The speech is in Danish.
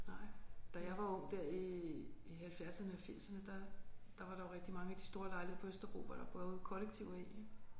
Nej da jeg var ung der i i halvfjerdserne og firserne der der var der jo rigtig mange af de store lejligheder på Østerbro hvor der boede kollektiver i